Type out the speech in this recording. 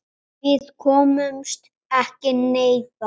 Þvílíkt frelsi og gleði.